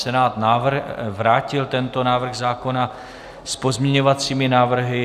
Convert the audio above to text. Senát vrátil tento návrh zákona s pozměňovacími návrhy.